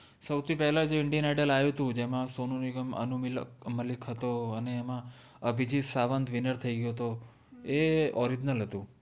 સૌ થિ પેહલા જે ઇન્દિઅન આઇદ્લ આયુ હતુ જેમા સોનુ નિગમ અનુ મલિ મલ્લિક હતો અને એમા અભિજીત સાવન્ત winner થૈ ગ્ય઼ઓ તો એ original હતુ